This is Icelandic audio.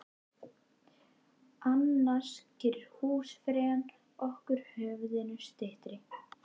Annars gerir húsfreyjan okkur höfðinu styttri.